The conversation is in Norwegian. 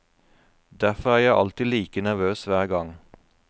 Derfor er jeg alltid like nervøs hver gang.